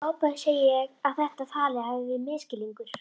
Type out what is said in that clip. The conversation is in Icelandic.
Í ofboði segi ég að þetta tal hafi verið misskilningur.